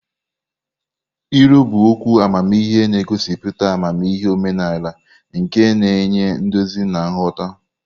Ilu bụ okwu amamihe na-egosipụta amamihe omenala nke na-enye nduzi na nghọta.